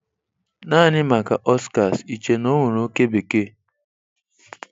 Naanị maka Oscars iche na ọ nwere oke bekee?